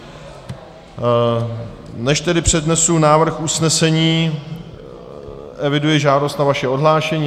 Než tedy přednesu návrh usnesení, eviduji žádost na vaše odhlášení.